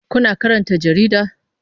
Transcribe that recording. Kuna karanta jarida?